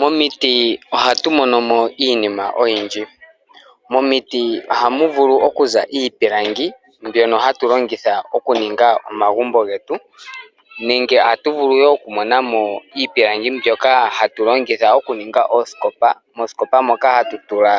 Momiti ohatu monomo iinima oyindji. Momiti ohamu vulu okuza iipilangi mbyono hatu longitha okuninga omagumbo getu, nenge ohatu vulu wo oku monamo iipilangi mbyoka hatu longitha okuninga oosikopa, moosikopa moka hatu tula